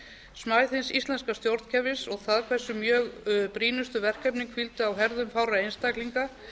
smæð hins íslenska stjórnkerfis og það hversu mjög brýnustu verkefnin hvíldu á herðum fárra einstaklinga